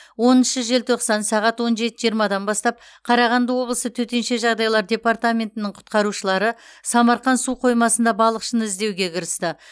оныншы желтоқсан сағат он жеті жиырмадан бастап қарағанды облысы төтенше жағдайлар департаментінің құтқарушылары самарқан су қоймасында балықшыны іздеуге кірісті